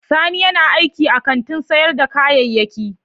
Sani yana aiki a kantin sayar da kayayyaki.